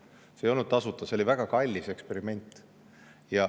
See ei olnud tasuta, see oli väga kallis eksperiment.